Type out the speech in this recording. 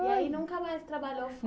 E aí nunca mais trabalhou